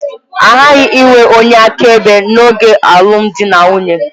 A ghaghị inwe onye akaebe n'oge alụmdi na nwunye.